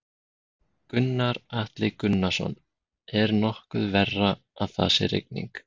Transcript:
Gunnar Atli Gunnarsson: Er nokkuð verra að það sé rigning?